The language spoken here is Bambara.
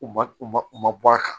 U ma u ma u ma bɔ a kan